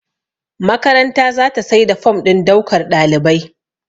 makaranta za ta sai da form don daukar ɗalibai